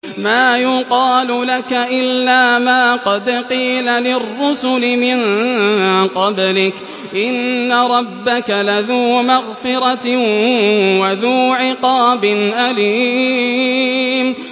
مَّا يُقَالُ لَكَ إِلَّا مَا قَدْ قِيلَ لِلرُّسُلِ مِن قَبْلِكَ ۚ إِنَّ رَبَّكَ لَذُو مَغْفِرَةٍ وَذُو عِقَابٍ أَلِيمٍ